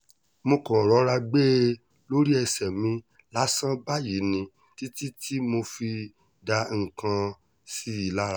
mo kàn rọra gbé e lórí ẹsẹ̀ mi lásán báyìí ní títí tí mo fi dá nǹkan sí i lára